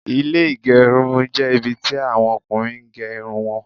Ilẹ́ agerun jẹ́ ibi tí àwọn Ọkùnrin gé Irun wọn